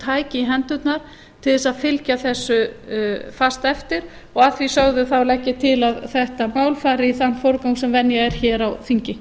tæki í hendurnar til að fylgja þessu fast eftir og að því sögðu legg ég til að þetta mál fari í þann forgang sem venja er á þingi